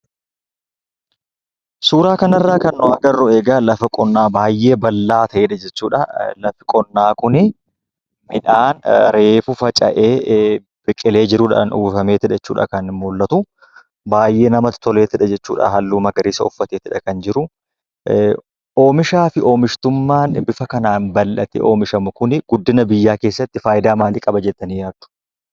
Suuraa kana irraa kan agarru egaa, lafa qonnaa baayyee bal'aa ta'edha jechuudhaa. Lafti qonnaa Kun midhaan reefu faca'ee biqilee jiruudhaan uwwifameetu dha kan muldhatu, baayyee namatti toleetudha jechuudha halluu magariisaa uffateetudha kan jiru. Oomishaa fi oomishtummaa bifa kanaan bal'atee oomishame Kun guddina biyyaa keessatti fayidaa maalii qaba jettanii yaaddu?